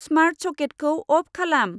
Smart सकेटखौ off खालाम।